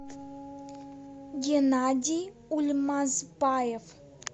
геннадий ульмазбаев